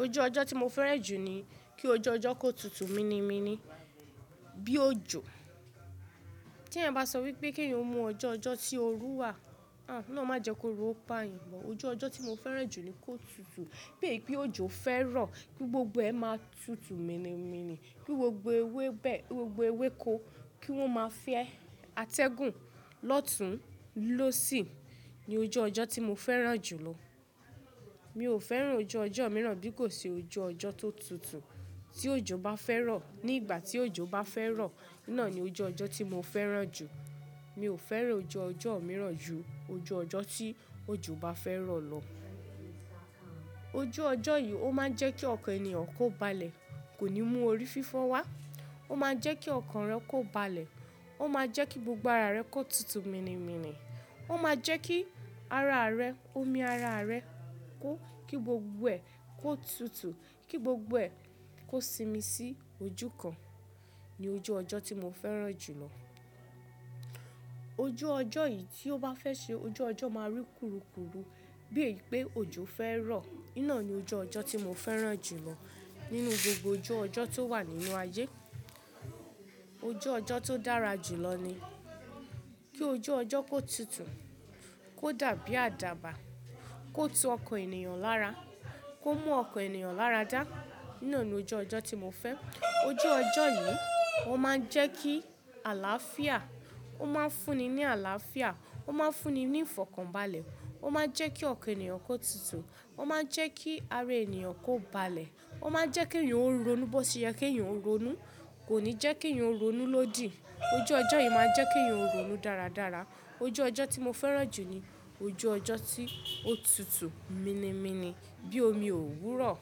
Ojú ọjọ́ tí mo fẹ́ràn jù ni kí ojú ọjọ́ kó tutù mini míni bí ojò. Tí ẹ̀eyan bá sọ wípé kí èèyàn mú ọjọ́ ọjọ́ tí òru wà, ah, olohun máa jẹ́ kóru o pá yàn but. Ojú ọjọ́ tí mo fẹ́ràn jù ni kó tutù bíi pé ojò fẹ́ rọ̀, ki gbogbo ẹ̀ máa tutù míni míni, ki gbogbo ewébè, gbogbo ewéko kí wọ́n máa fẹ́ atẹ́gùn lọ́tùn, lósi. Sì ni ojú ọjọ́ tí mo fẹ́ràn jù lọ. Mi ò fẹ́ràn ojú ọjọ́ mìíràn bí kò ṣe ojú ọjọ́ tó tutù. Tí ojò bá fẹ́ rọ̀, ní ìgbà tí ojò bá fẹ́ rọ̀, ná ni ojú ọjọ́ tí mo fẹ́ràn jù. Mi ò fẹ́ràn ojú ọjọ́ mìíràn ju ojú ọjọ́ tí ojò bá fẹ́ rọ̀ lọ. Ojú ọjọ́ yìí ó máa ń jẹ́ kí ọkàn èniyàn kó balẹ̀, kò ní mú orí fífọ́ wá. Ó máa n jẹ́ kí ọkàn rẹ kó balẹ̀. Ó máa jẹ́ kí gbogbo ara rẹ kó tutù míni míni. Ó máa jẹ́ kí ara rẹ, omi ara rẹ kó, kí gbogbo ẹ kó tutù, kí gbogbo ẹ kó simi sí ojú kan ni ojú ọjọ́ tí mo fẹ́ràn jù lọ. Ojú ọjọ́ yìí tí ó bá fẹ́ ṣe ojú ọjọ́ máa rí kurukuru bíi pé ojò fẹ́ rọ̀. Iná ni ojú ọjọ́ tí mo fẹ́ràn jù lọ nínú gbogbo ojú ọjọ́ tó wà nínú ayé. Ojú ọjọ́ tó dára jù lọ ni kí ojú ọjọ́ kó tutù, kó dàbí àdàbà, kó tu ọkàn ènìyàn lára, kó mú ọkàn ènìyàn láradá. Iná ni ojú ọjọ́ tí mo fẹ́. Ojú ọjọ́ yìí ó máa ń jẹ́ kí àlàáfíà, ó máa ń fúnni ní àlàáfíà, ó máa ń fúnni ní ìfọ̀kànbalẹ̀, ó máa n jẹ́ kí ọkàn èèyàn kó tutù, ó máa n jẹ́ kí ara èniyàn kó balẹ̀, ó máa n jẹ́ kí èèyàn ó ronú bó ṣe yẹ kí èèyàn ó ronú. Kò ní jẹ́ kí èèyàn ó ronú lódì. Ojú ọjọ́ yìí máa jẹ́ kí èèyàn ó ronú dáradára. Ojú ọjọ́ tí mo fẹ́ràn jù ni ojú ọjọ́ tí ó tutù míni míni bí omi òwúrọ̀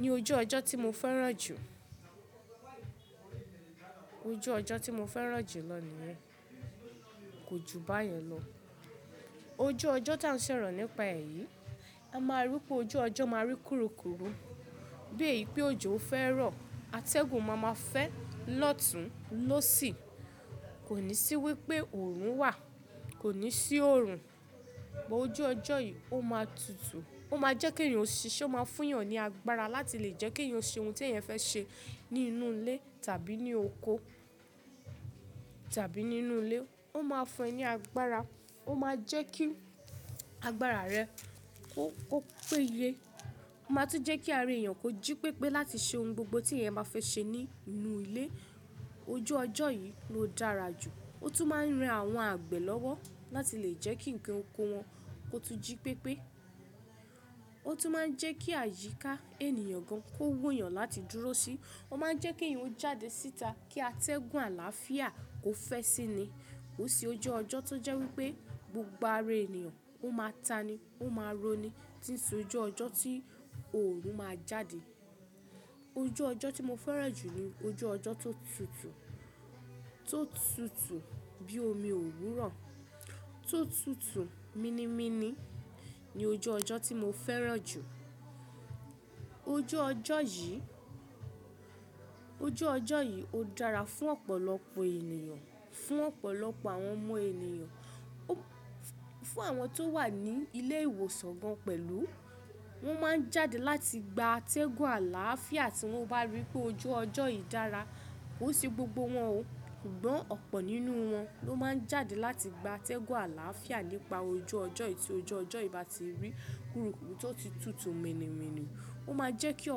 ni ojú ọjọ́ tí mo fẹ́ràn jù. Ojú ọjọ́ tí mo fẹ́ràn jù lọ niyen kò ju báyẹn lọ. Ojú ọjọ́ tí à ń ṣọ̀rọ̀ nípa è yí, a máa rí pé ojú ọjọ́ máa rí kurukuru bíi pé ojò fẹ́ rọ̀. Atẹ́gùn máa ma fẹ́ lọ́tùn, lósì. Kò ní sí wípé òòrùn wà, kò ní sí òòrùn. Ọju ọjọ́ yìí ó máa tutù. Ó máa jẹ́ kí èèyàn ṣise, ó máa fún èèyàn ní agbára láti lè jẹ́ kí èèyàn ṣe ohun tí ẹ̀eyan fẹ́ ṣe ní inú ilé tàbí ní oko tàbí nínú ilé. Ó máa fún ẹ ní agbára. Ó máa jẹ́ kí agbára rẹ kó, kó péye. Ó máa tún jẹ́ kí ara èèyàn kó jí pépé láti ṣe ohun gbogbo tí ẹ̀eyan ba fẹ́ ṣe ní inú ilé. Ojú ọjọ́ yìí ló dára jù. Ó tún máa ń ran àwọn àgbẹ̀ lọ́wọ́ láti lè jẹ́ kí nǹkan oko wọn kó tun jí pépé. Ó tún máa ń jẹ́ kí àyíká èniyàn gan kó wuyàn láti dúró sí. Ó máa ń jẹ́ kí èèyàn ó jáde síta kí atẹ́gùn àlàáfíà kó fẹ́ síi ni. Kò n se ojú ọjọ́ tó jẹ́ wípé gbogbo ara èniyàn ó máa ta'ni, ó máa roní. Tì í se ojú ọjọ́ tí òòrùn máa jáde. Ojú ọjọ́ tí mo fẹ́ràn jù ni ojú ọjọ́ tó tutù, tó tutù bíi omi òwúrọ̀, tó tutù míni míni ni ojú ọjọ́ tí mo fẹ́ràn jù. Ojú ọjọ́ yìí, ojú ọjọ́ yìí ó dára fún ọ̀pọ̀lọpọ̀ èèyàn, fún ọ̀pọ̀lọpọ̀ àwọn ọmọ ènìyàn, fún àwọn tó wà ní ilé ìwòsàn gan pẹ̀lú. Wọ́n máa ń jáde láti gba atẹ́gùn àlàáfíà tí wọ́n bá rí pé ojú ọjọ́ yìí dára. Kò n se gbogbo wọn o, ṣùgbọ́n ọ̀pọ̀ nínú wọn ló máa ń jáde láti gba atẹ́gùn àlàáfíà nípa ojú ọjọ́ yìí tí ojú ọjọ́ yìí bá ti rí kurukuru tó ti tutù míni míni. Ó máa jẹ́ kí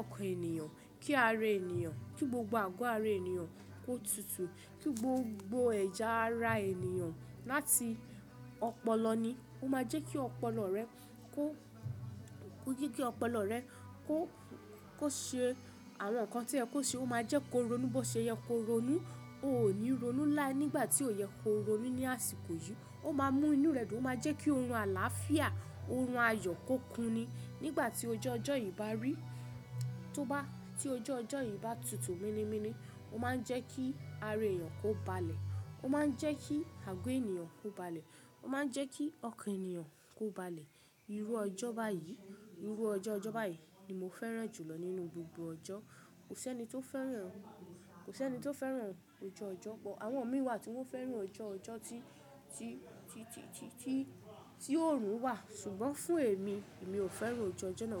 ọkàn èniyàn, kí ara èèyàn, kí gbogbo àgọ́ ara èniyàn kó tutù, kí gbogbo ẹ̀ya ara èniyàn láti ọpọlọ ni. Ó máa jẹ́ kí ọpọlọ rẹ kó, jeki ọpọlọ rẹ kó, kó ṣe àwọn nǹkan to yẹ kó ṣe. Ó máa jẹ́ kó ronú bó ṣe yẹ kó ronú. Ó ò ní ronú láé nígbà tí ó yẹ kó ronú ní àsìkò yìí. Ó máa mú inú rẹ dùn. Ó máa jẹ́ kí oorun àlàáfíà, oorun ayọ̀ kó kunni. Nígbà tí ojú ọjọ́ yìí bá rí, tó bá, tí ojú ọjọ́ yìí bá tutù míni míni, ó máa ń jẹ́ kí ara èèyàn kó balẹ̀. Ó máa ń jẹ́ kí àgọ́ èèyàn kó balẹ̀. Ó máa ń jẹ́ kí ọkàn èèyàn kó balẹ̀. Irú ọjọ́ báyìí, irú ọjọ́ ọjọ́ báyìí ni mo fẹ́ràn jù lọ nínú gbogbo ọjọ́. Kò sí ẹni tó fẹ́ràn, kò sí ẹni tó fẹ́ràn ojú ọjọ́, àwọn mi wà tí wọ́n fẹ́ràn ojú ọjọ́ tí, tí, tí, tí, tí òòrùn wà, ṣùgbọ́n fún èmi, èmi ò fẹ́ràn ojú ọjọ́ náà.